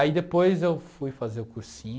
Aí depois eu fui fazer o cursinho